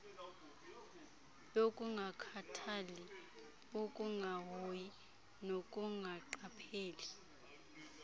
yokungakhathali ukungahoyi nokungaqapheli